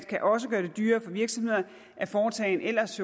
kan også gøre det dyrere for virksomhederne at foretage en jo ellers